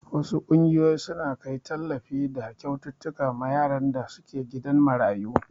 Wasu ƙungiyoyin suna kai tallafi da kyaututtuka ma yaran da suke gidan marayu.